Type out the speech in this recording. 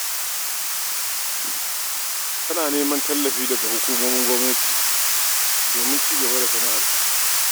Tana neman tallafi daga hukumomin gwamnati domin ci gaba da sana'arta.